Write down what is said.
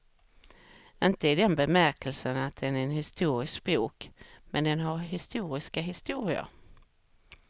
Inte i den bemärkelsen att den är en historisk bok, men den har historiska historier.